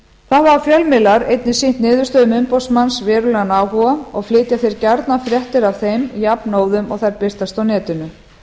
hafa fjölmiðlar einnig sýnt niðurstöðum umboðsmanns verulegan áhuga og flytja þeir gjarnan fréttir af þeim jafnóðum og þær birtast á netinu